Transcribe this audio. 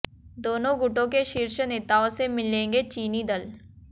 दोनों गुटों के शीर्ष नेताओं से मिलेंगे चीनी दल